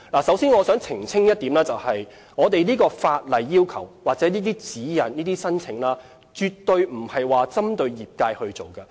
首先，我想澄清一點，我們的法例要求或申請指引絕對不是針對業界推出的。